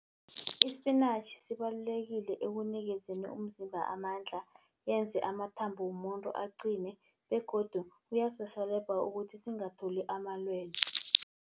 Isipinatjhi sibalulekile ekunikezeni umzimba amandla, yenze amathambo womuntu aqine begodu uyasirhelebha ukuthi singatholi amalwele.